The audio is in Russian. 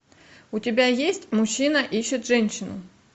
у тебя есть мужчина ищет женщину